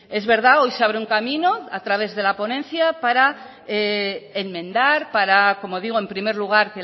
es verdad hoy se abre un camino a través de la ponencia para enmendar para como digo en primer lugar